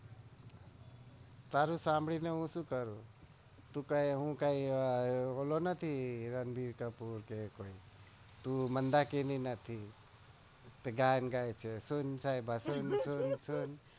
તારું સાંભળી ને શું કરું હું કઈ વોલો નથી રણધીર કપૂર કે તારું તું મંદાકિની નથી કે ગયાં ગાય છે સન સાયબા સન